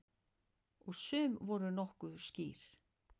Og sum voru nokkuð skýr.